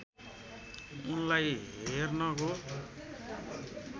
उनलाई हेर्नको